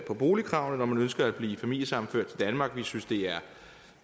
boligkravene når man ønsker at blive familiesammenført i danmark vi synes det er